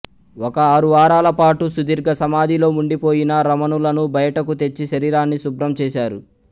ఒక ఆరు వారాల పాటు సుదీర్ఘ సమాధిలో ఉండిపోయిన రమణులను బయటకు తెచ్చి శరీరాన్ని శుభ్రం చేశారు